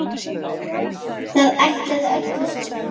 Það ægði öllu saman